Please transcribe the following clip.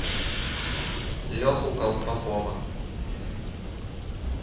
леху колпакова